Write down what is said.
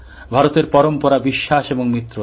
ভারতের পরম্পরা বিশ্বাস এবং মিত্রতা